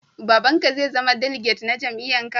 Baba'n ka zai zama diliget na jami'yyan ka?